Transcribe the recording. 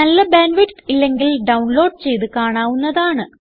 നല്ല bandwidth ഇല്ലെങ്കിൽ download ചെയ്ത് കാണാവുന്നതാണ്